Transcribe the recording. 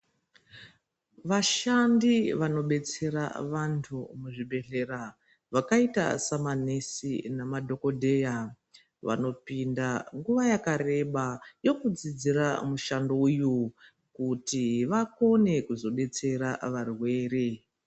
Vashandi vanobetsera vantu muzvibhendleya vakaita semanesi nemadhokodheya vanopinda nguwa yakareba yekudzidzira mushando uyu. Kuti vakone kuzodetsera varwere.